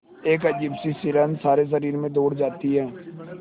एक अजीब सी सिहरन सारे शरीर में दौड़ जाती है